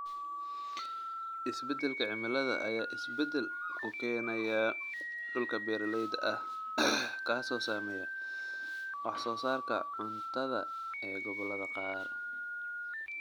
Isbeddelka cimilada ayaa isbedel ku keenaya dhulka beeralayda ah, kaasoo saameeya wax soo saarka cuntada ee gobollada qaar.